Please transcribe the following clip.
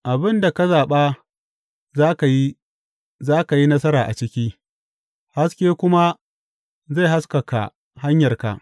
Abin da ka zaɓa za ka yi za ka yi nasara a ciki, haske kuma zai haskaka hanyarka.